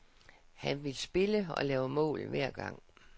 Han vil spille, og lave mål, hver gang.